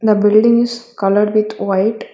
The buildings coloured with white.